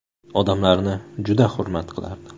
Odamlarni juda hurmat qilardi.